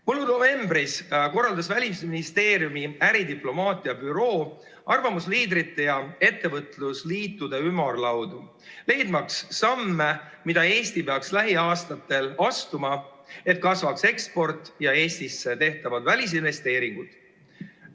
Mullu novembris korraldas Välisministeeriumi äridiplomaatia büroo arvamusliidrite ja ettevõtlusliitude ümarlaudu, et selgitada, mis samme peaks Eesti lähiaastatel astuma, et kasvaks eksport ja Eestisse tehtavad välisinvesteeringud.